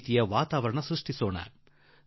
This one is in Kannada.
ನಾವೆಲ್ಲರೂ ಈ ವಾತಾವರಣ ನಿರ್ಮಿಸೋಣ